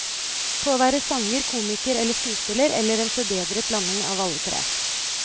På å være sanger, komiker eller skuespiller, eller en forbedret blanding av alle tre.